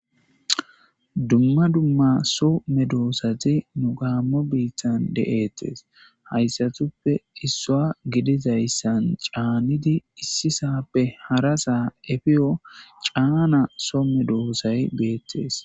Dumma dumma so me doosati nu gaammo biittan de7ettes hayssatuppe issua gidizayssan caanidi issisappe hara saa efiyo caana soome doosay beettes